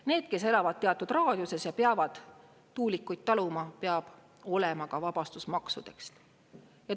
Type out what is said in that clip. Need, kes elavad teatud raadiuses ja peavad tuulikuid taluma, peab olema ka vabastus maksudest.